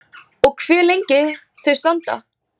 Og hve lengi þau standa.